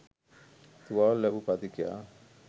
තුවාල ලැබූ පදිකයා